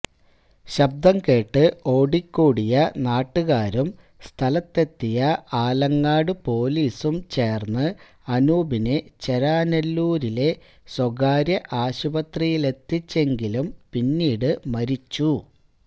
ശബ്ദം കേട്ട് ഓടിക്കൂടിയ നാട്ടുകാരും സ്ഥലത്തെത്തിയ ആലങ്ങാട് പോലീസും ചേർന്ന് അനൂപിനെ ചേരാെനല്ലൂരിലെ സ്വകാര്യ ആശുപത്രിയിലെത്തിച്ചെങ്കിലും പിന്നീട് മരിച്ചു